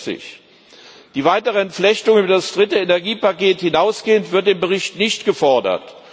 64. Die weitere Entflechtung über das dritte Energiepaket hinaus wird im Bericht nicht gefordert.